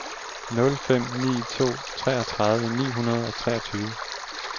nul fem ni to treogtredive ni hundrede og treogtyve